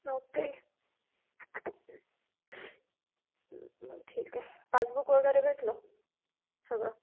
okay मग ठीक आहे पासबुक वगैरे भेटल सगळं